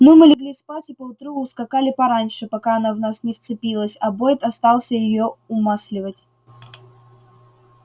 ну мы легли спать и поутру ускакали пораньше пока она в нас не вцепилась а бойд остался её умасливать